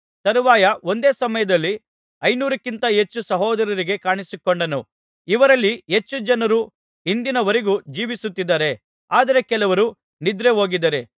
ತರುವಾಯ ಒಂದೇ ಸಮಯದಲ್ಲಿ ಐನೂರಕ್ಕಿಂತ ಹೆಚ್ಚು ಸಹೋದರರಿಗೆ ಕಾಣಿಸಿಕೊಂಡನು ಇವರಲ್ಲಿ ಹೆಚ್ಚು ಜನರು ಇಂದಿನವರೆಗೂ ಜೀವಿಸುತ್ತಿದ್ದಾರೆ ಆದರೆ ಕೆಲವರು ನಿದ್ರೆ ಹೋಗಿದ್ದಾರೆ